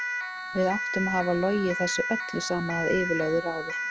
Við áttum að hafa logið þessu öllu saman að yfirlögðu ráði.